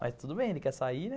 Mas tudo bem, ele quer sair, né?